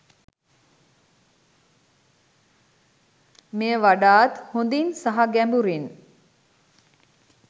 මෙය වඩාත් හොඳින් සහ ගැඹුරින්